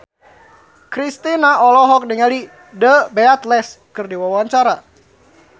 Kristina olohok ningali The Beatles keur diwawancara